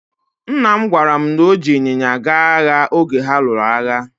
Nna m gwara mụ na o ji ịnyịnya gaa agha oge ha lụrụ agha.